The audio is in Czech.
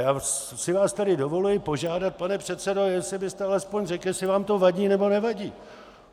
Já si vás tady dovoluji požádat, pane předsedo, jestli byste alespoň řekl, jestli vám to vadí, nebo nevadí.